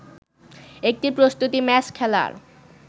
একটি প্রস্তুতি ম্যাচ খেলার